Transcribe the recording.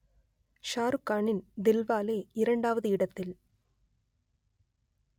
ஷாருக்கானின் தில்வாலே இரண்டாவது இடத்தில்